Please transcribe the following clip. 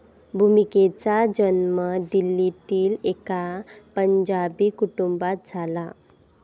भूमिकेचा जन्म दिल्लीतील एका पंजाबी कुटुंबात झाला.